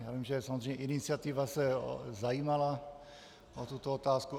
Já vím, že samozřejmě iniciativa se zajímala o tuto otázku.